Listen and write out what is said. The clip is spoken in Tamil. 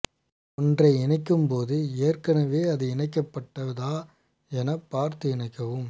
ஒன்றை இணைக்கும் போது ஏற்கனவே அது இணைக்கப்பட்டதா என பார்த்து இணைக்கவும்